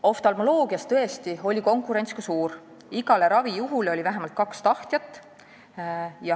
" Oftalmoloogias oli tõesti ka suur konkurents: iga ravijuhu kohta oli vähemalt kaks tahtjat.